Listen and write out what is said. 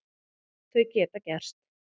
Þau geta gerst.